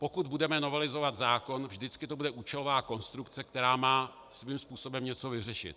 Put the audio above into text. Pokud budeme novelizovat zákon, vždycky to bude účelová konstrukce, která má svým způsobem něco vyřešit.